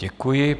Děkuji.